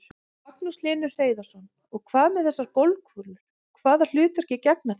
Magnús Hlynur Hreiðarsson: Og hvað með þessar golfkúlur, hvaða hlutverki gegna þær?